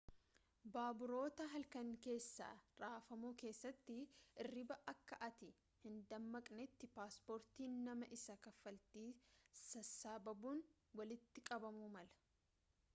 baaburoota halkanii keessa rafamu keessatti hirribaa akka ati hindammaqnetti paaspoortiin nama isa kaffaltii sassaabuun walitti qabamuu mala